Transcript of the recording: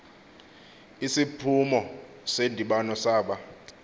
isiphumo sendibano saba